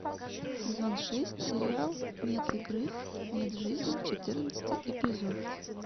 сезон шесть сериал нет игры нет жизни четырнадцатый эпизод